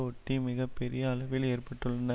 ஒட்டி மிக பெரிய அளவில் ஏற்பட்டுள்ளன